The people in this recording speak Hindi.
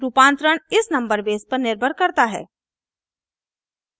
रूपांतरण इस नंबर बेस पर निर्भर करता है